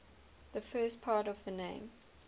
the first part of the name